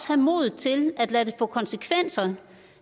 have modet til at lade det få konsekvenser